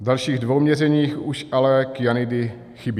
V dalších dvou měřeních už ale kyanidy chybí.